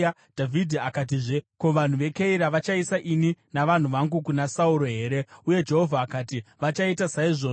Dhavhidhi akatizve, “Ko, vanhu veKeira vachaisa ini navanhu vangu kuna Sauro here?” Uye Jehovha akati, “Vachaita saizvozvo.”